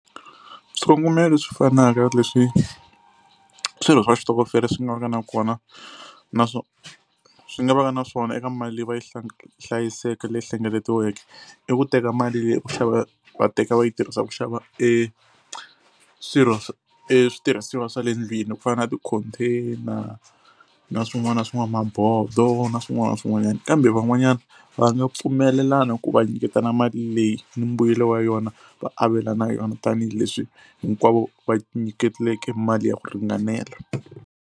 Swikongomelo leswi fanaka leswi swirho swa xitokofela swi nga va ka na kona na swo swi nga va ka na swona eka mali leyi va yi hlayiseke leyi hlengeletiweke i ku teka mali leyi ku xava va teka va yi tirhisa ku xava e swirho swa e switirhisiwa swa le ndlwini ku fana na ti-container na swin'wana na swin'wana, mabodo na swin'wana na swin'wanyana. Kambe van'wanyana va nga pfumelelana ku va nyiketana mali leyi ni mbuyelo wa yona va avelana yona tanihileswi hinkwavo va nyikeleke mali ya ku ringanela.